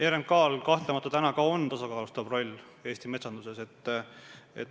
RMK-l on kahtlemata tasakaalustav roll Eesti metsanduses.